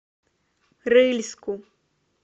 рыльску